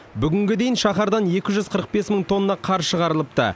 бүгінге дейін шаһардан екі жүз қырық бес мың тонна қар шығарылыпты